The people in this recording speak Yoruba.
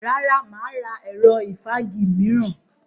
Rárá, mà á ra ẹ̀rọ ìfági mìíràn.